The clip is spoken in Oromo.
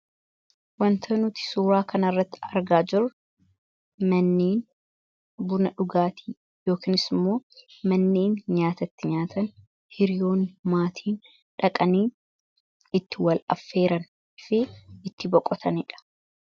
Wanta nuti suuraa kana irratti argaa jiru manneen buna dhugaatii yookanis immoo manneen nyaatatti nyaatan hiriyoon maatiin dhaqanii itti wal affeeran fi itti boqotaniidha.